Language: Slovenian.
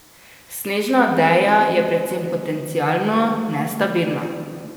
Snežna odeja je predvsem potencialno nestabilna.